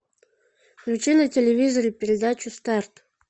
включи на телевизоре передачу старт